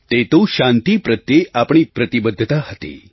તે તો શાંતિ પ્રત્યે આપણી પ્રતિબદ્ધતા હતી